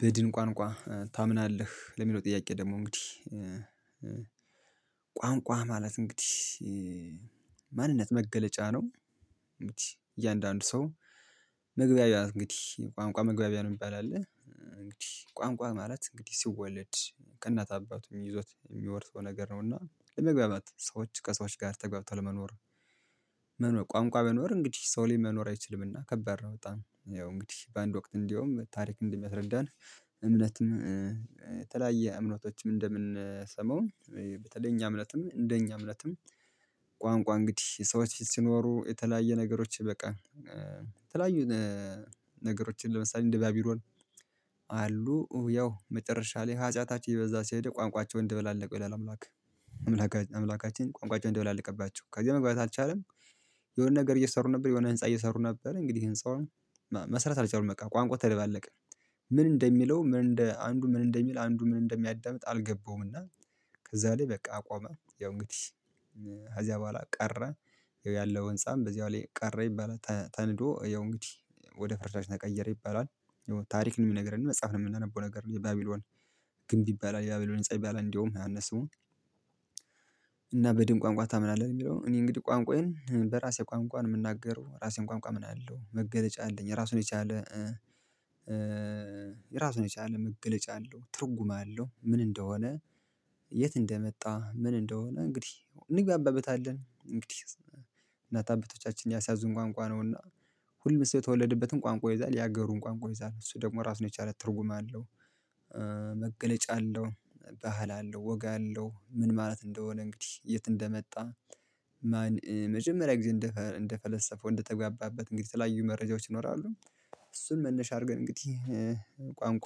በድን ቋንቋ ታምናለህ ለሚለው ጥያቄ ደግሞ እንግዲህ ቋንቋ ማለት እንግዲህ መገለጫ ነው እያንዳንዱ ሰው መግቢያ በያን እንግዲህ ቋንቋ መግቢያ ነው የሚባል አለ እንግዲህ ቋንቋ ማለት እንግዲህ ሲወለድ ከእናት አባቱ ይዞት የሚርሰው ነገር ነውና ለመግባባት ሰዎች ከሰዎች ጋር ተገብተው ለመኖር መኖር ቋንቋ መኖር እንግዲህ ሰው ሊመኖር አይችልምና ከበረ በጣም ያው እንግዲህ በአንድ ወቅት እንደውም ታሪክ እንደሚያስረዳን እምነትም የተለያየ እምነቶችም እንደምንሰማው በተለይ እኛ እምነትም እንደኛ እምነትም ቋንቋ እንግዲህ ሰዎች በፊት ሲኖሩ የተለያየ ነገሮች በቃ የተለያዩ ነገሮችን ለምሳሌ እንደ ባቢሎን አሉ ያው መጨረሻ ላይ ሀጢያታችን በዛ ሲሄድ ቋንቋቸውን ደበላለቀው ይላል አምላክ አምላካችን ቋንቋቸውን ደበላለቀባቸው ከዚህ መግባባት አልቻሉም የሆነ ነገር እየሰሩ ነበር የሆነ ህንፃ እየሰሩ ነበር እንግዲህ ህንፃውን መስራት አልቻሉም በቃ ቋንቋ ተደባለቀ ምን እንደሚለው ምን እንደ አንዱ ምን እንደሚል አንዱ ምን እንደሚያዳምጥ አልገባውም እና ከዛ ላይ በቃ አቆመ ያው እንግዲህ ከዚያ በኋላ ቀረ ያለው ህንፃም በዚያው ላይ ቀረ ይባላል ተንዶ ያው እንግዲህ ወደ ፍርስራሽ ተቀየረ ይባላል ይሄው ታሪክን የሚነግረን መጽሐፍ ላይ የምናነበው ነገር ነው የባቢሎን ግንብ ይባላል የባቢሎን ህንፃ ይባላል እንደውም ከነስሙ በድን ቋንቋ ታምናለህ? የሚለው እኔ እንግዲህ ቋንቋዬን በራሴ ቋንቋን የምናገረው በራሴም ቋንቋ አምናለሁ፣ መገለጫ አለኝ ራሱን የቻለ ራሱን የቻለ መገለጫ አለው ትርጉም አለው ምን እንደሆነ የት እንደመጣ ምን እንደሆነ እንግዲህ እንግባበታለን እንግዲህ እናት አባቶቻችን ያሳዙን ቋንቋ ነውና ሁሉም ሰው የተወለደበትን ቋንቋ ይይዛል የሀገሩን ቋንቋ ይይዛል እሱ ደግሞ ራሱን የቻለ ትርጉም አለው፤ መገለጫ አለው፣ ባህል አለው፣ ወጋ አለው፣ ምን ማለት እንደሆነ እንግዲህ የት እንደመጣ መጀመሪያ ጊዜ እንደ እንደፈለሰፈው እንደተጋባበት እንግዲህ ተለያዩ መረጃዎች ይኖራሉ እሱን መነሻ አድርገን እንግዲህ ቋንቋ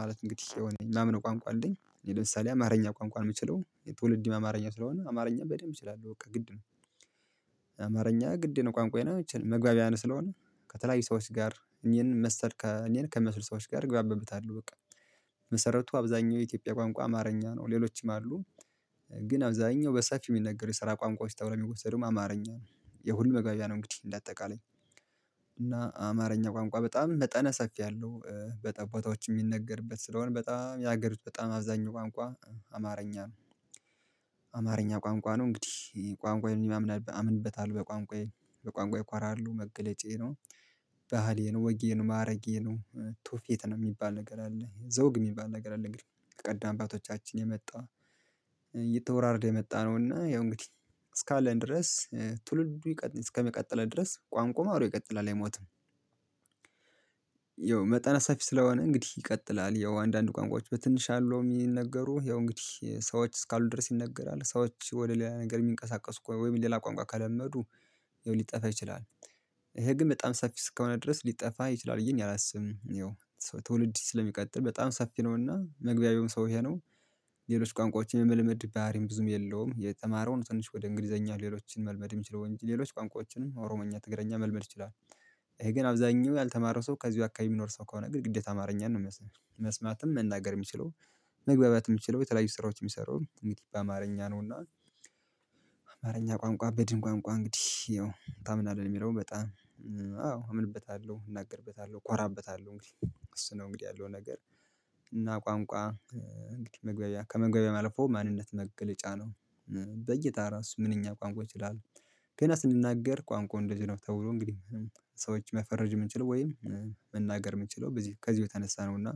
ማለት እንግዲህ የሆነ ማምነው ቋንቋ አለኝ ለምሳሌ አማርኛ ቋንቋ የምችለው ትዉልዴም አማርኛ ስለሆነ አማርኛ በደንብ እችላለሁ በቃ ግድ ነው አማርኛ ግድ ቋንቋዬ ነው መግባቢያም ስለሆነ ከተለያዩ ሰዎች ጋር እኔን መሰል እኔን ከሚመስሉ ሰዎች ጋር እግባባበታለሁ በቃ በመሰረቱ አብዛኛው የኢትዮጵያ ቋንቋ አማርኛ ነው ሌሎችም አሉ ግን አብዛኛው በሰፊው የሚነገረው የስራ ቋንቋ ተብሎም የሚወሰደውም አማርኛ ነው የሁሉም መግባቢያ ነው እንግዲህ እንደ አጠቃላይ እና አማርኛ ቋንቋ በጣም መጠነ ሰፊ ያለው በጠ ቦታዎች የሚነገርበት ስለሆነ በጣም ያገሪት በጣም አብዛኛው ቋንቋ አማርኛ ነው። አማርኛ ቋንቋ ነው እንግዲህ ቋንቋዬን እማም አምንበታል በቋንቋ በቋንቋ ይኮራለሁ፣ መገለጫዬ ነው፣ ባህሌ ነው፣ ወጌ ነው፣ ማረጌ ነው፣ ቱዉፊት ነው የሚባል ነገር አለ ዘውግ የሚባል ነገር አለ እንግዲህ ቀደም አባቶቻችን የመጣ እየተወራረደ የመጣ ነውና ያው እንግዲህ እስካለን ድረስ ትውልዱ እስከሚቀጥለው ድረስ ቋንቋ ማውሮ ይቀጥላል አይሞትም፣ መጠነ ሰፊ ስለሆነ እንግዲህ ይቀጥላል ያው አንዳንድ ቋንቋዎች በትንሽ አለው የሚነገሩ ያው እንግዲህ ሰዎች እስካሉ ድረስ ይነገራል ሰዎች ወደ ሌላ ነገር የሚንቀሳቀሱ ወይም ሌላ ቋንቋ ከለመዱ ይኸው ሊጠፋ ይችላል ይሄ ግን በጣም ሰፊ እስከሆነ ድረስ ሊጠፋ ይችላል ይሄን አላስብም። ትውልድ ስለሚቀጥል በጣም ሰፊ ነውና መግባቢያውም ሰው ይሄ ነው ሌሎች ቋንቋዎችን የመልመድ ባህሪም ብዙም የለውም የተማረውም ትንሽ ወደ እንግሊዘኛ ሌሎችን መልመድ የሚችለው እንጂ ሌሎች ቋንቋዎችንም ኦሮምኛ፣ ትግሪኛ መልመድ ይችላል። ይሄ ግን አብዛኛው ያልተማረ ሰው ከዚሁ አካባቢ የሚኖር ሰው ከሆነ ግን ግዴታ አማርኛን ነው መስማትም መናገር የሚችለው መግባባት የምችለው የተለያዩ ስራዎች የሚሰራዉም እንግዲህ በአማርኛ ነውና አማርኛ ቋንቋ በድን ቋንቋ እንግዲህ ያው ታምናለህ የሚለውን በጣም አዎ እምንበታለሁ፣ እናገርበታለሁ፣ እኮራብበታለሁ፣ እንግዲህ እሱ ነው እንግዲህ ያለው ነገር እና ቋንቋ መግበያ ከመግበያ ማለፉ ማንነት መግለጫ ነው። በይታ ራሱ ምንኛ ቋንቋ ይችላል ግን ስንናገር ቋንቋ እንደዚህ ነው ተውሎ እንግዲህ ሰዎች መፈረጅ የምንችለው ወይም መናገር የምንችለው በዚህ ከዚህ የተነሳ ነውና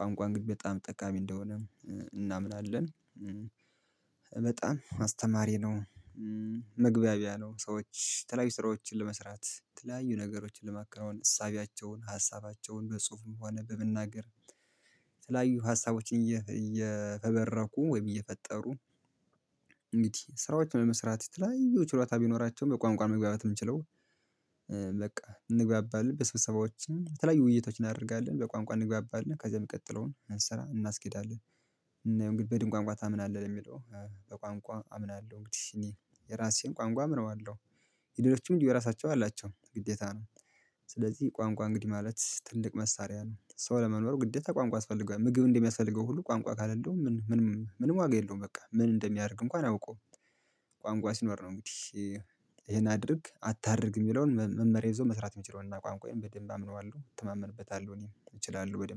ቋንቋ እንግዲህ በጣም ጠቃሚ እንደሆነ እናምናለን አስተማሪ ነው፣ መግባቢያው ነው ሰዎች ተለያዩ ስራዎችን ለመስራት ዘተለያዩ ነገሮችን ለማከናወን እሳቤያቸውን፣ ሀሳባቸውን በጽሁፍም ሆነ በመናገር የተለያዩ ሀሳቦችን እየፈበረኩ ወይ እየፈጠሩ ስራዎችን ለመስራት የተለያዩ ችሎታ ቢኖራቸውም በቋንቋ ነው መግባባት የምንችለው በቃ እንግባባለን ስብሰባዎችን የተለያዩ ውይይቶችን እናደርጋለን በቋንቋ እንግባባለን ከዛ የምቀጥለውን ስራ እናስኬዳለን። ያው እንግዲህ በድን ቋንቋ ታምናለህ ለሚለው በቋንቋ አምናለሁ እንግዲህ እኔ የራሴን ቋንቋ አምነዋለሁ የሌሎችም እንዲሁ የራሳቸው አላቸው ግዴታ ነው ስለዚህ ቋንቋ እንግዲህ ማለት ትልቅ መሳሪያ ነው ሰው ለመኖር ግዴታ ቋንቋ ያስፈልገዋል፣ ምግብ እንደሚያስፈልገው ሁሉ ቋንቋ ካላለው ምንም ምንም ዋጋ የለውም በቃ ምን እንደሚያደርግ እንኳን አያውቁም ቋንቋ ሲኖር ነው እንግዲህ ይሄን አድርግ አታድርግ የሚለውን መመሪያ ይዞ መስራት የሚችለው እና ቋንቋዬን በደንብ አምነዋለሁ፣ እተማመንበታለሁ እኔም እችላለሁ በደንብ።